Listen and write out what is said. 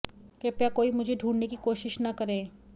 कृपया कोई मुझे ढूंढने की कोशिश न करें